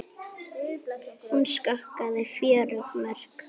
Hún skoraði fjögur mörk.